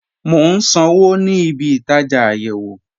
Mo n sànwo ní ìbí-ìtajá ayéwo